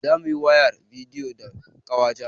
Zamuyi wayar bidiyo da ƙawata